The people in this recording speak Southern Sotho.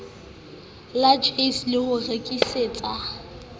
la jse le ho rekisetsa